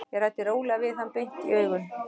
Ég ræddi rólega við hann, beint í augun.